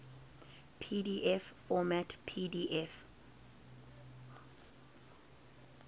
pdf format pdf